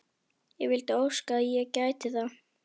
Ég vildi óska að ég gæti það.